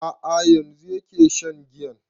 A'a yanzu yake shan giyan